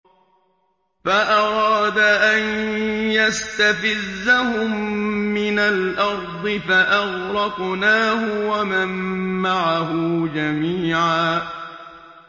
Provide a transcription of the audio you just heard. فَأَرَادَ أَن يَسْتَفِزَّهُم مِّنَ الْأَرْضِ فَأَغْرَقْنَاهُ وَمَن مَّعَهُ جَمِيعًا